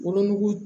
Wolonugu